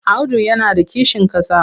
Audu yana da kishin ƙasa.